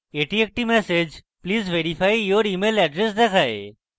এটি একটি message please verify your email address দেখায়